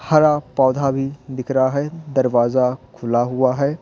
हरा पौधा भी दिख रहा है दरवाजा खुला हुआ है।